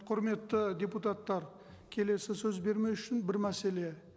құрметті депутаттар келесі сөз бермес үшін бір мәселе